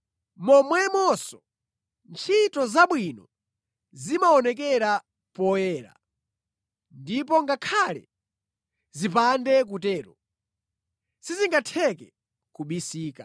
Momwemonso, ntchito zabwino zimaonekera poyera, ndipo ngakhale zipande kutero, sizingatheke kubisika.